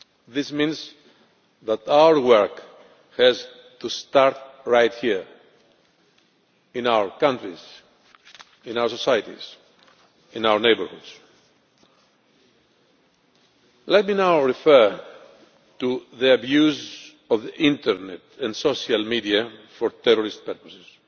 This means that our work has to start right here in our countries, in our societies and in our neighbourhoods. Let me now refer to the abuse of the internet and social media for terrorist purposes.